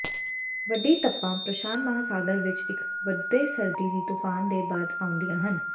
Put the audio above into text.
ਵੱਡੀ ਤਪਾਂ ਪ੍ਰਸ਼ਾਂਤ ਮਹਾਂਸਾਗਰ ਵਿਚ ਇਕ ਵੱਡੇ ਸਰਦੀ ਦੇ ਤੂਫਾਨ ਦੇ ਬਾਅਦ ਆਉਂਦੀਆਂ ਹਨ